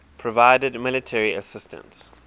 provided military assistance